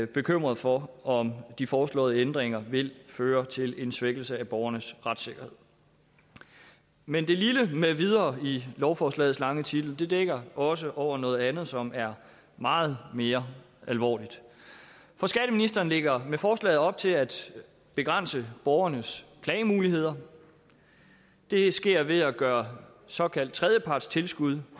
bekymrede for om de foreslåede ændringer vil føre til en svækkelse af borgernes retssikkerhed men det lille med videre i lovforslagets lange titel dækker også over noget andet som er meget mere alvorligt for skatteministeren lægger med forslaget op til at begrænse borgernes klagemuligheder det sker ved at gøre såkaldt tredjepartstilskud